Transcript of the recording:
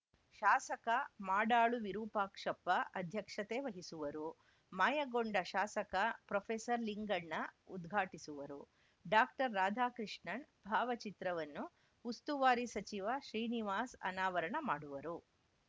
ಶಾಸಕ ಮಾಡಾಳು ವಿರೂಪಾಕ್ಷಪ್ಪ ಅಧ್ಯಕ್ಷತೆ ವಹಿಸುವರು ಮಾಯಗೊಂಡ ಶಾಸಕ ಪ್ರೊಫೆಸರ್ ಲಿಂಗಣ್ಣ ಉದ್ಘಾಟಿಸುವರು ಡಾಕ್ಟರ್ ರಾಧಾಕೃಷ್ಣನ್‌ ಭಾವಚಿತ್ರವನ್ನು ಉಸ್ತುವಾರಿ ಸಚಿವ ಶ್ರೀನಿವಾಸ್‌ ಅನಾವರಣ ಮಾಡುವರು